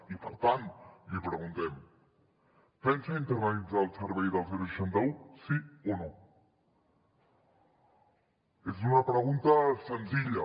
i per tant li preguntem pensa internalitzar el servei del seixanta un sí o no és una pregunta senzilla